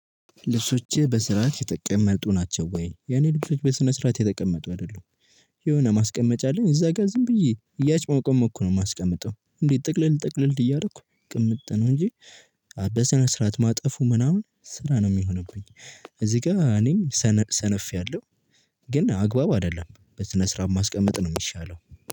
ልብሶችህ በስርዓት የተቀመጡ ናቸው ወይ የኔ ልብሶች በስነ ስርዓት የተቀመጡ አይደሉም? የሆነ ማስቀመጫ አለኝ እዛ ጋር ዝም ብዬ እያጭሞቀሞኩ ነው የማስቀምጠው። እንዴ ጠቅልል ጠቅልል እያደረኩ ቅምጥ ነው እንጂ። በስነስርዓት ማጠፉ ምናምን ስራ ነው የሚሆነብኝ። እዚህ ጋር እኔም ሰነፌያለሁ። ግን አግባብ አይደለም በስነስርዓት ማስቀመጥ ነው የሚሻለው።